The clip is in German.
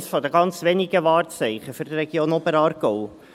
Es ist eines der ganz wenigen Wahrzeichen der Region Oberaargau.